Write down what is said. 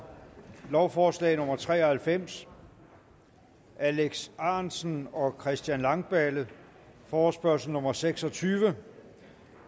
lovforslag nummer l tre og halvfems alex ahrendtsen og christian langballe forespørgsel nummer f seks og tyve